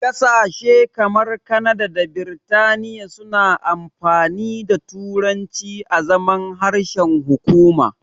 Ƙasashe kamar Kanada da Biritaniya suna amfani da turanci azaman harshen hukuma.